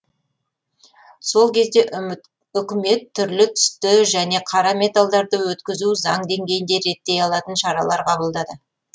сол кезде үкімет түрлі түсті және қара металдарды өткізуді заң деңгейінде реттей алатын шаралар қабылдады